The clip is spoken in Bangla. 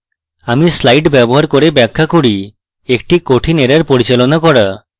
আমি slides ব্যবহার করে ব্যাখ্যা করি একটি কঠিন error পরিচালনা করা